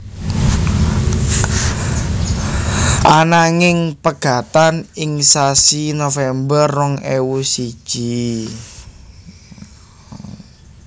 Ananging pegatan ing sasi November rong ewu siji